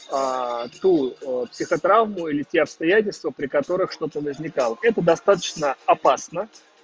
ту психотравму или те обстоятельства при которых что-то возникало это достаточно опасно